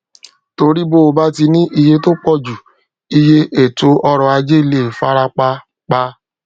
torí bo bá ti ní iye tó pọjù iye ètò ọrọ ajé lè fara pa pa